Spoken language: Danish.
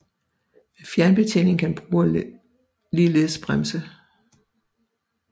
Med fjernbetjening kan brugeren ligeledes bremse